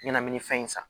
Ɲɛnaminifɛn in san